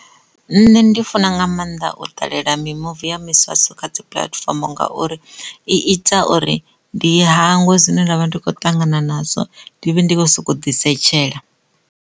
Nṋe ndi funa nga maanḓa u ṱalela mimuvi ya miswaswo kha dzi puḽatifomo ngauri i ita uri ndi hangwe zwine nda vha ndi kho ṱangana nazwo ndi vhe ndi kho soko ḓi setshelela.